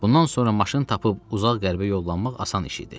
Bundan sonra maşın tapıb uzaq qərbə yollanmaq asan iş idi.